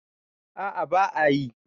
a a ba a yi